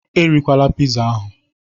Erila pizza ahụ